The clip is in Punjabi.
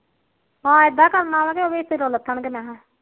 ਹਾ ਐਦਾ ਕਰਨਾਵਾ ਜੋ ਲੱਥਣਗੇ